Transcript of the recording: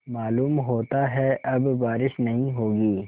मालूम होता है अब बारिश नहीं होगी